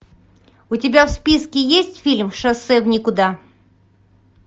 у тебя в списке есть фильм шоссе в никуда